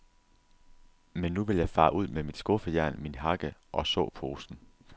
Men nu vil jeg fare ud med mit skuffejern, min hakke og såposen.